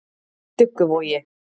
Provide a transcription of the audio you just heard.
Dugguvogi